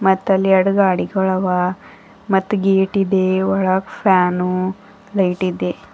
ಮತ್ತ್ ಅಲ್ಲಿ ಏಡ್ಗಡಿಗಳವ ಮತ್ತ್ ಗೇಟ್ ಇದೆ ಒಳಗ್ ಫ್ಯಾನು ಲೈಟ್ ಇದೆ.